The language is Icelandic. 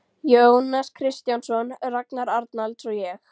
Jónas Kristjánsson, Ragnar Arnalds og ég.